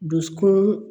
Dusukun